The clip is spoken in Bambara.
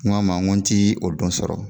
N k'a ma n ko n ti o don sɔrɔ,